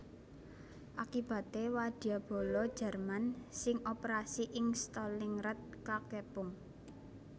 Akibaté wadyabala Jerman sing operasi ing Stalingrad kakepung